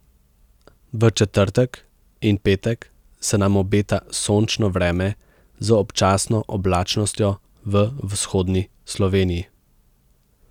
V četrtek in petek se nam obeta sončno vreme z občasno oblačnostjo v vzhodni Sloveniji.